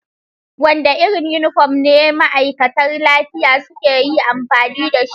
Wanda irin yunifom ne ma'aikata lafiya suka yi amfani da shi?